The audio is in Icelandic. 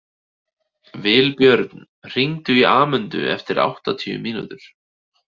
Vilbjörn, hringdu í Amöndu eftir áttatíu mínútur.